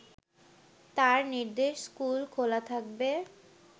তাঁর নির্দেশ স্কুল খোলা থাকবে